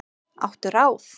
Áttu ráð?